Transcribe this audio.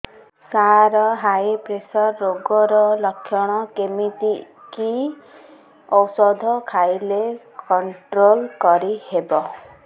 ସାର high pressure ରୋଗର ଲଖଣ କେମିତି କି ଓଷଧ ଖାଇଲେ କଂଟ୍ରୋଲ କରିହେବ